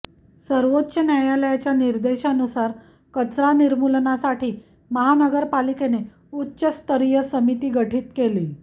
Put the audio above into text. सर्वोच्च न्यायालयाच्या निर्देशानुसार कचरा निर्मूलनासाठी महानगरपालिकेने उच्चस्तरीय समिती गठीत केली